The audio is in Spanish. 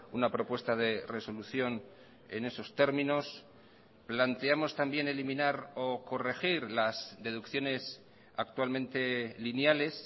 una propuesta de resolución en esos términos planteamos también eliminar o corregir las deducciones actualmente lineales